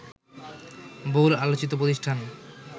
বহুল আলোচিত প্রতিষ্ঠান